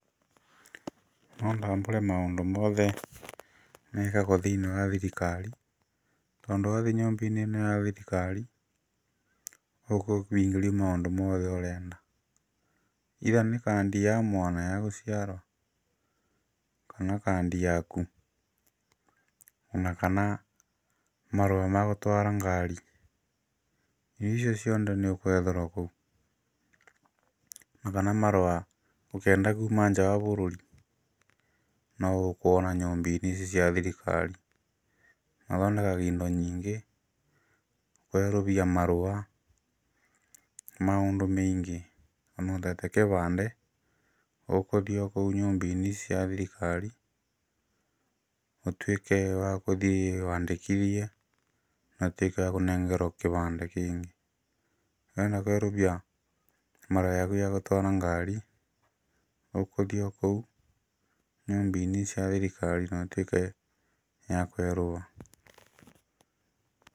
No ndambũre maũndũ mothe mekagwo thĩinĩ wa thirikari tondũ wathiĩ nyũmbainĩ ĩno ya thirikari ũkũhingĩrio maũndũ mothe ũrenda either nĩ kandi ya mwana ya gũciarwo kana nĩ kandi yaku ona kana marũa ma gũtwara ngari icio ciothe nĩũgwetherwo kũu. Kana marũa ũkĩenda kuma nja wa bũrũri no ũkuona nyũmba-inĩ ici cia thirikari. Mathondekaga indo nyingĩ kwerũhia marũa maũndũ maingĩ. Mũndũ atete kĩbandĩ ũgũthiĩ okũu nyũmbainĩ ici cia thirikari ũtuĩke wa gũthiĩ wandĩkithie na ũtuĩke wa kũnengerwo kĩbandĩ kĩngĩ. Wenda kwerũhia marũa ma ngari ũgũthiĩ o kũu nyũmba-inĩ ici cia thirikari na ĩtuĩke ya kwerũha.